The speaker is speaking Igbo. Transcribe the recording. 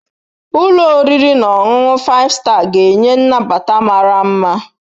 Ụlọ oriri na ọṅụṅụ Five Star ga-enye nnabata mara mma.